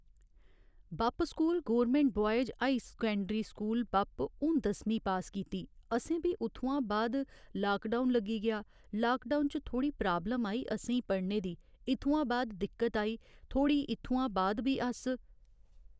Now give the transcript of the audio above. बप्प school government boys high secondary school Bapp हून दसमीं pass कीती असें भी उत्थुआं बाद लाकडाउन लग्गी गेआ लाकडाउन च थोह्ड़ी प्राब्लम आई असेंई पढ़ने दी इत्थुआं बाद दिक्कत आई थोह्ड़ी इत्थुआं बाद भी अस